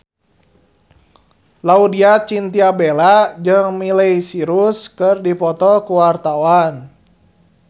Laudya Chintya Bella jeung Miley Cyrus keur dipoto ku wartawan